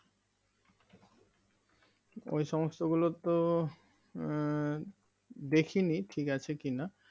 ওই সমস্ত গুলো তো এর দেখিনি ঠিক আছে কিনা